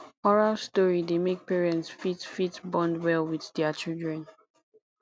oral story dey make parents fit fit bond well with their children